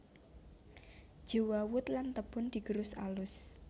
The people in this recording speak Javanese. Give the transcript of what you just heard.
Jewawut lan tebon digerus alus